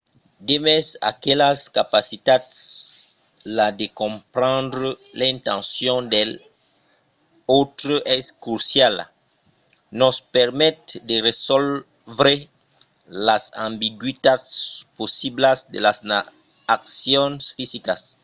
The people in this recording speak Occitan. demest aquelas capacitats la de comprendre l’intencion dels autres es cruciala. nos permet de resòlvre las ambigüitats possiblas de las accions fisicas